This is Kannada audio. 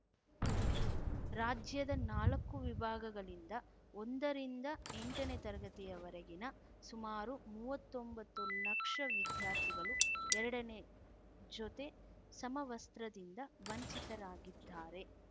ರಾಜ್ಯದ ನಾಲಕ್ಕು ವಿಭಾಗಗಳಿಂದ ಒಂದರಿಂದ ಎಂಟನೇ ತರಗತಿವರೆಗಿನ ಸುಮಾರು ಮೂವತ್ತೊಂಬತ್ತು ಲಕ್ಷ ವಿದ್ಯಾರ್ಥಿಗಳು ಎರಡನೇ ಜೊತೆ ಸಮವಸ್ತ್ರದಿಂದ ವಂಚಿತರಾಗಿದ್ದಾರೆ